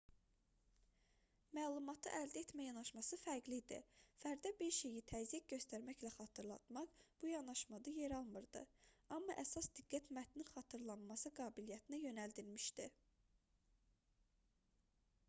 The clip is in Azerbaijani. məlumatı əldə etmə yanaşması fərqli idi fərdə bir şeyi təzyiq göstərməklə xatırlatmaq bu yanaşmada yer almırdı amma əsas diqqət mətnin xatırlanması qabiliyyətinə yönəldilmişdi